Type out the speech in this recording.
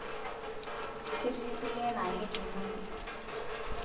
Ketii kulie naa kejung'uni.